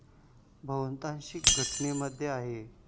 बहुतांश घटनांमध्ये आहे.